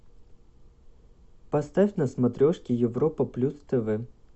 поставь на смотрешке европа плюс тв